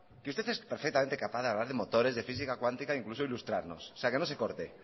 que usted es perfectamente capaz de hablar de motores de física cuántica e incluso ilustrarnos o sea que no se corte